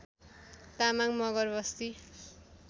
Tamang Magar Basti